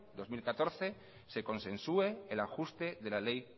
dos mil catorce se consensue el ajuste de la ley